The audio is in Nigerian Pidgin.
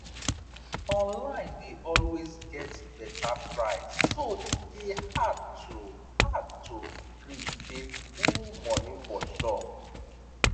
online dey always get better price so e dey hard to hard to gree pay full money for shop